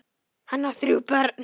Hann á þrjú börn.